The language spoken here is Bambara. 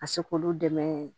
Ka se k'olu dɛmɛ